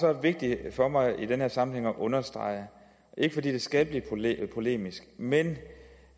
er vigtigt for mig i den her sammenhæng at understrege er ikke fordi det skal blive polemisk men